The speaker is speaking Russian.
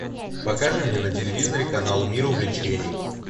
покажи мне на телевизоре канал мир увлечений